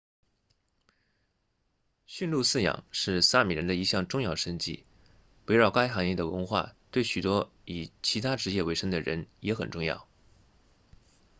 驯鹿饲养是萨米人的一项重要生计围绕该行业的文化对许多以其他职业为生的人也很重要